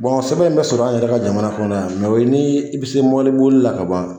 sɛbɛn in bɛ sɔrɔ an yɛrɛ ka jamana kɔnɔ yan o ye ni i bɛ se mɔbili boli la ka ban.